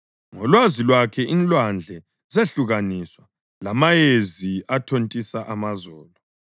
ngolwazi lwakhe inlwandle zehlukaniswa, lamayezi athontisa amazolo.